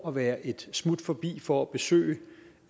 at være et smut forbi for at besøge